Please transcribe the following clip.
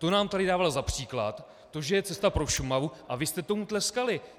To nám tady dával za příklad, to že je cesta pro Šumavu, a vy jste tomu tleskali.